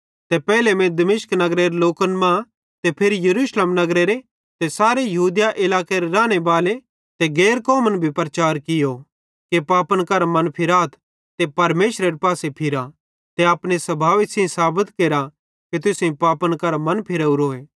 ते पेइले मीं दमिश्क नगरेरे लोकन मां ते फिरी यरूशलेम नगरेरे ते सारे यहूदिया इलाकेरे रानेबालो ते गैर कौमन भी प्रचार केरतो कियो कि पापन करां मनफिराथ ते परमेशरेरे पासे फिरा ते अपने स्भावे सेइं साबत केरा कि तुसेईं पापन करां मन फिरावरोए